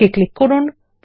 okay click করুন